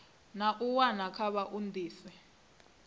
na u wana kha vhaoisisi